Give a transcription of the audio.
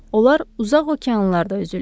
Onlar uzaq okeanlarda üzürlər.